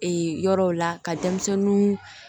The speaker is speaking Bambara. Ee yɔrɔw la ka denmisɛnnin